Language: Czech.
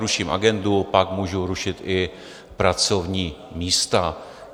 Ruším agendu, pak můžu rušit i pracovní místa.